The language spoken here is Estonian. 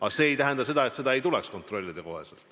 Aga see ei tähenda seda, et ei tuleks kontrollida kohe.